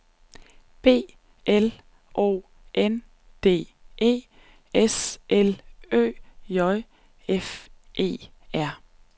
B L O N D E S L Ø J F E R